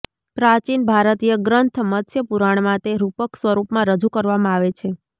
પ્રાચીન ભારતીય ગ્રંથ મત્સ્ય પુરાણમાં તે રૂપક સ્વરૂપમાં રજૂ કરવામાં આવે છે